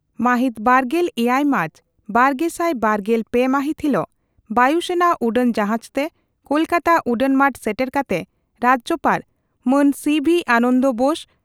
ᱢᱟᱦᱤᱛ ᱵᱟᱨᱜᱮᱞ ᱮᱭᱟᱭ ᱢᱟᱨᱪ ᱵᱟᱨᱜᱮᱥᱟᱭ ᱵᱟᱨᱜᱮᱞ ᱯᱮ ᱢᱟᱦᱤᱛ ᱦᱤᱞᱚᱜ ᱵᱟᱹᱭᱩ ᱥᱮᱱᱟ ᱩᱰᱟᱹᱱ ᱡᱟᱦᱟᱡᱽᱛᱮ ᱠᱚᱞᱠᱟᱛᱟ ᱩᱰᱟᱹᱱ ᱢᱟᱴ ᱥᱮᱴᱮᱨ ᱠᱟᱛᱮ ᱨᱟᱡᱭᱚᱯᱟᱲ ᱢᱟᱱ ᱥᱤᱹᱵᱷᱤ ᱟᱱᱚᱱᱫᱚ ᱵᱳᱥ